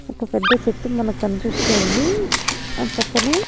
ఒక పెద్ద చెట్టు మనకి కనిపిస్తోంది దాని పక్కనే.